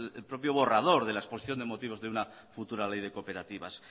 el propio borrador de la exposición de motivos de una futura ley de cooperativas